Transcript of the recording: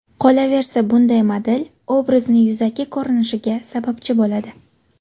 Qolaversa bunday model, obrazni yuzaki ko‘rinishiga sababchi bo‘ladi.